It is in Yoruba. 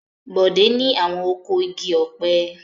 Bọ̀dé ni àwọn oko igi ọ̀pẹ.